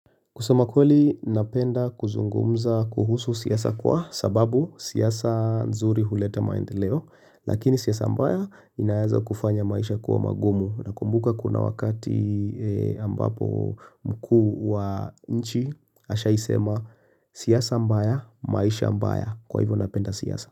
Kusama kweli napenda kuzungumza kuhusu siasa kwa sababu siasa nzuri huleta maendeleo, lakini siasa mbaya inaweza kufanya maisha kuwa magumu. Nakumbuka kuna wakati ambapo mkuu wa nchi, ashawahi sema siasa mbaya maisha mbaya kwa hivyo napenda siasa.